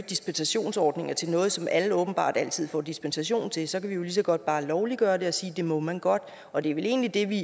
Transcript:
dispensationsordninger til noget som alle åbenbart altid får dispensation til så kan vi jo lige så godt bare lovliggøre det og sige at det må man godt og det er vel egentlig det vi